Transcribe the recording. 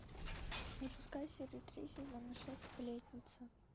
запускай серию три сезона шесть сплетница